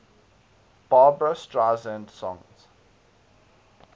barbra streisand songs